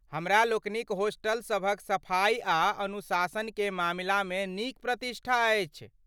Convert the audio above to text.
हमरा लोकनिक होस्टलसभक सफाई आ अनुशासन के मामिलामे नीक प्रतिष्ठा अछि।